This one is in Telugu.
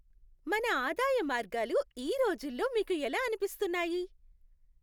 మన ఆదాయ మార్గాలు ఈ రోజుల్లో మీకు ఎలా అనిపిస్తున్నాయి?